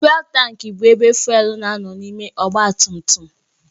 Fụ́élú taank bụ ebe fụ́élú na-anọ n'ime ọgbatumtum.